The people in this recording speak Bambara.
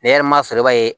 Ne yɛrɛ ma sɔrɔ i b'a ye